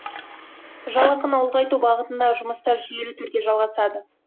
жалақыны ұлғайту бағытындағы жұмыстар жүйелі түрде жалғасады